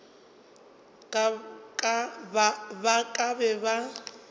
ba ka ba be ba